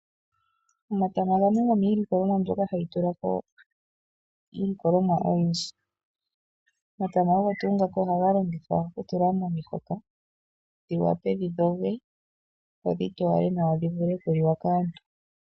Omatama ogo gamwe gomiilikolomwa mboka hayi tulako iilikolomwa oyindji. Omatama ogo tuu ngoka ohaga longithwa okutulwa momihoka, dhiwape dhi dhoge, dhivule okuliwa kaantu.